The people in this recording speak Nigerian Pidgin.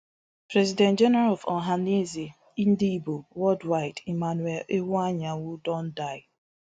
president general of ohanaeze ndigbo worldwide emmanuel iwuanyanwu don die